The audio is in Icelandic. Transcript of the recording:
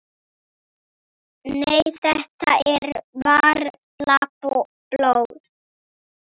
Nei, þetta er varla blóð.